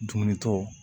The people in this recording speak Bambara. Dumuni tɔ